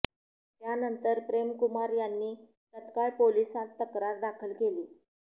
त्यानंतर प्रेम कुमार यांनी तत्काळ पोलिसांत तक्रार दाखल केली